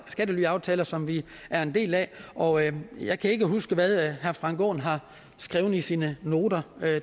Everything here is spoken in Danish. skattelyaftaler som vi er en del af og jeg jeg kan ikke huske hvad herre frank aaen har skrevet i sine noter